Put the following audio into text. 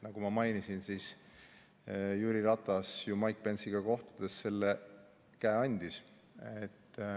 Nagu ma mainisin, siis Jüri Ratas ju Mike Pence'iga kohtudes käe andis.